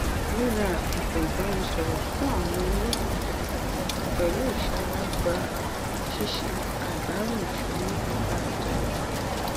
ríra àsìkò ìbánisọrọ fún àwọn olólùfẹ pẹlú ìṣọra gbà ṣíṣe àdàrò ìṣúná dáradára